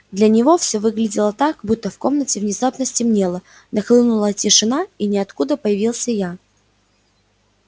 для него все выглядело так будто в комнате внезапно стемнело нахлынула тишина и из ниоткуда появился я